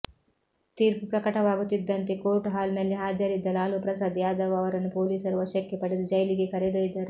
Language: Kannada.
ತೀರ್ಪು ಪ್ರಕಟವಾಗುತ್ತಿದ್ದಂತೆ ಕೋರ್ಟ್ ಹಾಲ್ ನಲ್ಲಿ ಹಾಜರಿದ್ದ ಲಾಲು ಪ್ರಸಾದ್ ಯಾದವ್ ಅವರನ್ನು ಪೊಲೀಸರು ವಶಕ್ಕೆ ಪಡೆದು ಜೈಲಿಗೆ ಕರೆದೊಯ್ದರು